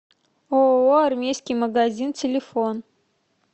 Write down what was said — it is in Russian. ооо армейский магазин телефон